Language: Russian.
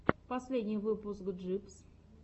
последний выпуск джибс